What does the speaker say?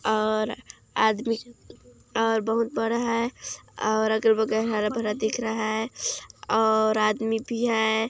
--और आदमी और बहुत बड़ा है और अगल बगल हरा भरा दिख रहा है और आदमी भी है।